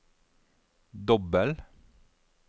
dobbel